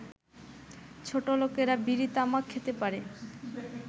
ছোটলোকেরা বিড়ি তামাক খেতে পারে